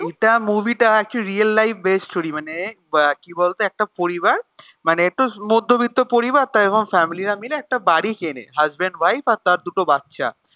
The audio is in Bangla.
এটা movie টা actually real life based story মানে উহ কি বলত একটা পরিবার মানে একটু মধ্যবিত্ত পরিবার তাই family রা মিলে একটা বাড়ি কেনে, husband wife আর তার দুটো বাচ্চা